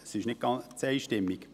es ist nicht ganz einstimmig.